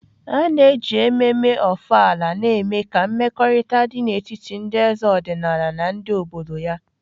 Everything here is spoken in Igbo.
A na-eji ememme Ofala na-eme ka mmekọrịta dị n'etiti ndị eze ọdịnala na ndị obodo ya.